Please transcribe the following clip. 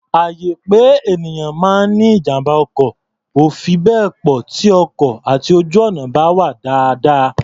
Àyè pé ènìyàn máa ní ijàm̀bá ọkọ̀ ò fi bẹ́ẹ̀ pọ̀ tí ọkọ̀ àti ojú-ọ̀nà bá wà dáadáa.